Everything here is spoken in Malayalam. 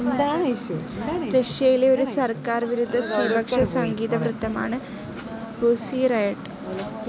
റഷ്യയിലെ ഒരു സർക്കാർ വിരുദ്ധ സ്ത്രീപക്ഷ സംഗീതവൃന്ദമാണ് പുസി റയട്ട്.